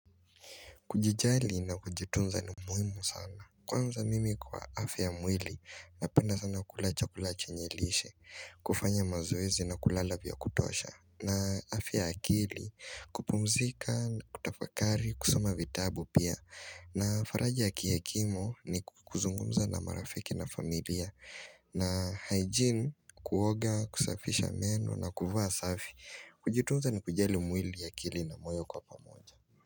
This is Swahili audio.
Kujijali na kujitunza ni muhimu sana. Kwanza mimi kwa afya ya mwili napenda sana kula chakula chenye lishe, kufanya mazoezi na kulala vya kutosha. Na afya ya akili kupumzika na kutafakari, kusoma vitabu pia. Na faraja ya kihekimu ni kuzungumza na marafiki na familia. Na hygiene, kuoga, kusafisha meno na kuvaa safi. Kujitunza ni kujali mwili akili na moyo kwa pamoja.